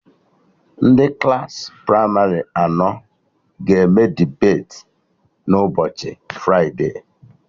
Ndị Klassị pramarị anọ ga-eme debeti na ụbọchị fride